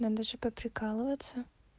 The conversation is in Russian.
надо же поприкалываться